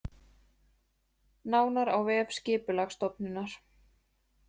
Nánar á vef Skipulagsstofnunar